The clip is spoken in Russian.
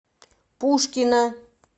пушкино